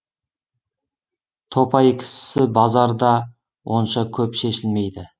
топай кісісі базар да онша көп шешілмейді